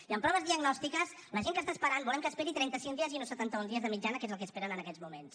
i en proves diagnòstiques la gent que està esperant volem que esperi trenta cinc dies i no setanta un dies de mitjana que és el que esperen en aquests moments